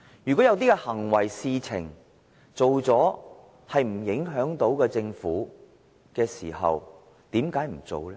如果有些行為和事情是不會影響政府的，為甚麼不做呢？